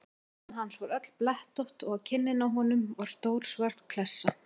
Peysan hans var öll blettótt og á kinninni á honum var stór svört klessa.